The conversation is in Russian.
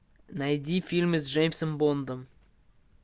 найди фильмы с джеймсом бондом